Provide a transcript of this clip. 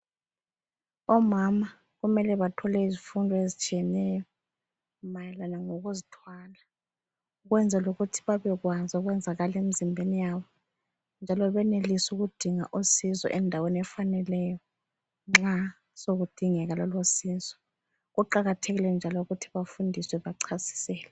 Omama kumele bathole izifundo ezitshiyeneyo mayelana lokuzithwala ukwenzela ukuthi babekwazi okwenzakala emizimbeni yabo njalo benelise ukudinga usizo endaweni efaneleyo nxa sekudingeka lolo sizo. Kuqakathekile njalo ukuthi bafundiswe bachasiselwe.